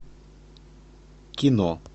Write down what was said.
кино